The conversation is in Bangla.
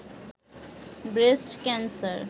breast cancer